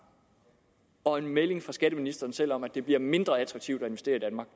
og en melding fra skatteministeren selv om at det bliver mindre attraktivt at investere